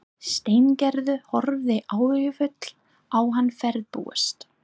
Steingerður horfði áhyggjufull á hann ferðbúast.